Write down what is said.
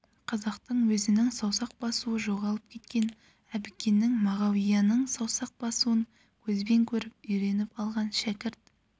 қазақтың өзінің саусақ басуы жоғалып кеткен әбікеннің мағауияның саусақ басуын көзбен көріп үйреніп алған шәкірт